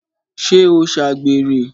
ṣé ó ṣàgbèrè?